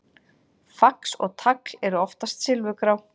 Fax og tagl eru oftast silfurgrá.